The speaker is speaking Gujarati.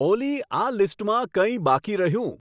ઓલી આ લીસ્ટમાં કંઈ બાકી રહ્યું